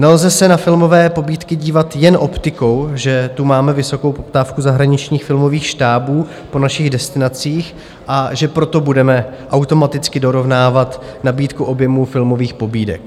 Nelze se na filmové pobídky dívat jen optikou, že tu máme vysokou poptávku zahraničních filmových štábů po našich destinacích, a že proto budeme automaticky dorovnávat nabídku objemu filmových pobídek.